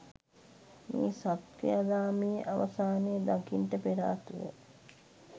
මේ සත් ක්‍රියාදාමයේ අවසානය දකින්ට පෙරාතුව